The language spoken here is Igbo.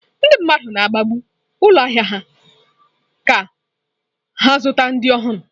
Ndị mmadụ na-agabu ụlọ ahịa ka ha zute ndị ọhụrụ.